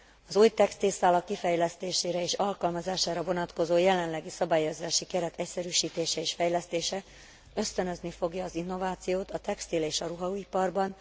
Az új textilszálak kifejlesztésére és alkalmazására vonatkozó jelenlegi szabályozási keret egyszerűsítése és fejlesztése ösztönözni fogja az innovációt a textil és a ruhaiparban.